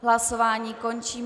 Hlasování končím.